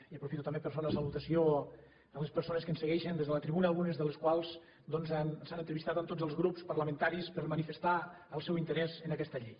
i aprofito també per fer una salutació a les persones que ens segueixen des de la tribuna algunes de les quals doncs s’han entrevistat amb tots els grups parlamentaris per manifestar el seu interès en aquesta llei